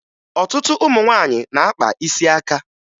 Ọtụtụ ụmụ nwaanyị na-akpa isi aka